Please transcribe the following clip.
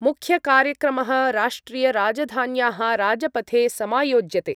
मुख्यकार्यक्रमः राष्ट्रियराजधान्याः राजपथे समायोज्यते।